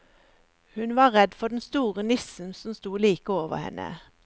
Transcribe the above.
Hun var for redd den store nissen som sto like over henne.